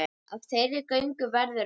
Af þeirri göngu verður ekki.